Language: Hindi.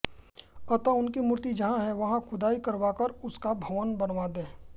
अतः उनकी मूर्ति जहां है वहां खुदाई करवाकर उसका भवन बनवा दें